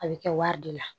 A bɛ kɛ wari de la